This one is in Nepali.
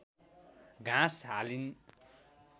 घाँस हालिन्